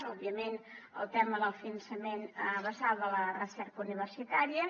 òbviament el tema del finançament basal de la recerca universitària